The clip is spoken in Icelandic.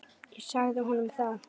Ég sagði honum það.